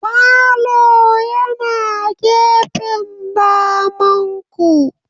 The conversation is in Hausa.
Falo yana gefen damanku.